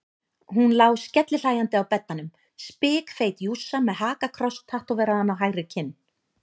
Hún lá skellihlæjandi á beddanum, spikfeit jússa með hakakross tattóveraðan á hægri kinn.